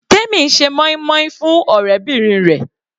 Temi ń ṣe moin-moin fún ọ̀rẹ́bìnrin rẹ̀.